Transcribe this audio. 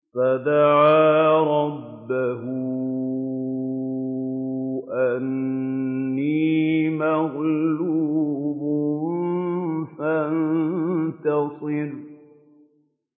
فَدَعَا رَبَّهُ أَنِّي مَغْلُوبٌ فَانتَصِرْ